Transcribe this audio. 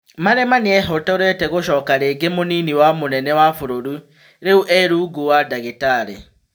Malima nĩehotorete gũcoka rĩngĩ mũnini wa mũnene wa bũrũri, rĩu e-rungu wa Ndagitarĩ.